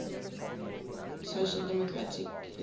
social democratic labour